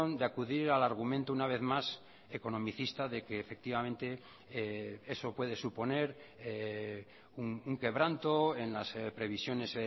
de acudir al argumento una vez más economicista de que efectivamente eso puede suponer un quebranto en las previsiones